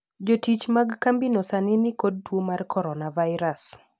Jotich mag kambino sani ni kod tuo mar coronavirus.